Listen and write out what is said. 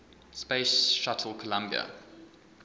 space shuttle columbia